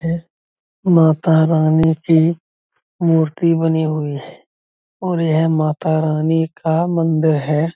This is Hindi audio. यह मातारानी की मूर्ति बनी हुई है और यह मातारानी का मंदिर है।